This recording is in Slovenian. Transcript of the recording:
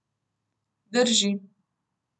Drži.